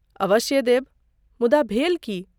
अवश्य देब, मुदा भेल की?